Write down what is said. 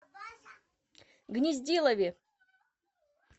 гнездилове